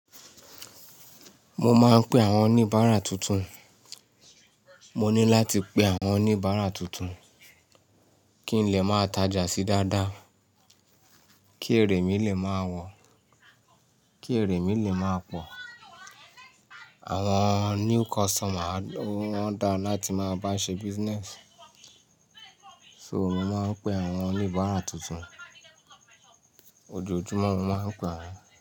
Mo máa ń pe àwọn oníbàárà tuntun. Mo ní láti pe àwọn oníbàárà tuntun kí n lè máa tajà síi dáadáa, kí èrè mí lè máa wọ̀, kí èrè mi lè máa pọ̀. Àwọn new customer ló wọ́n dáa láti máa bá ṣe business. So mo máa ń pe àwọn oníbàárà tuntun. Ojoojúmọ́ mo máa ń pè wọ́n.